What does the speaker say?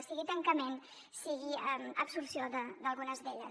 sigui tancament sigui absorció d’algunes d’elles